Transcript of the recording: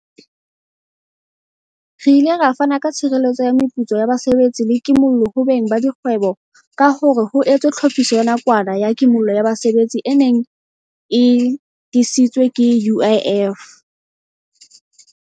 Re ile ra fana ka tshireletso ya meputso ya basebetsi le ki mollo ho beng ba dikgwebo ka hore ho etswe Tlhophiso ya Nakwana ya Kimollo ya Basebetsi e neng e disitswe ke UIF.